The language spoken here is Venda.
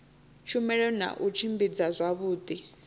tshumelo na u tshimbidza zwavhudi